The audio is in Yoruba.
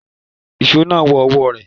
Ìṣó náà wọ ọwọ́ rẹ̀.